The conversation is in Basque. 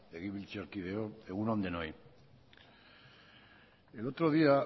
legebiltzarkideok egun on denoi el otro día